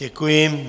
Děkuji.